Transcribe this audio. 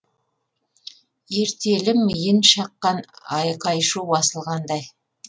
ертелі миын шаққан айқай шу басылғандай